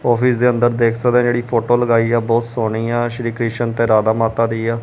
Office ਦੇ ਅਂਦਰ ਦੇਖ ਸਕਦੇ ਹੈ ਜੇੜੀ ਫੋਟੋ ਲਗਾਇ ਆ ਬਹੁਤ ਸੋਨੀ ਆ ਸ਼੍ਰੀ ਕਿਸ਼ਨ ਤੇ ਰਾਧਾ ਮਾਤਾ ਦੀ ਆ।